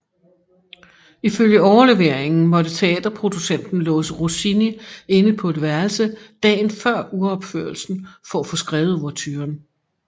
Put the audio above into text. Ifølge overleveringen måtte teaterproducenten låse Rossini inde på et værelse dagen før uropførelsen for at få skrevet ouverturen